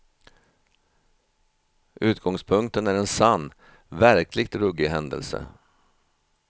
Utgångspunkten är en sann, verkligt ruggig händelse.